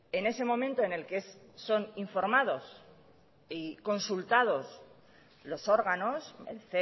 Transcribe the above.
en ese momento en el que son informados y consultados los órganos el